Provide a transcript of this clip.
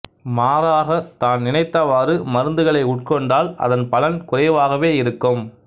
மாறாக தான் நினைத்தவாறு மருந்துகளை உட்கொண்டால் அதன் பலன் குறைவாகவே இருக்கும்